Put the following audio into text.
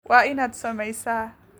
Waa inaad samaysaa